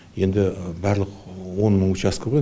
енді барлық он мың учәскі ғой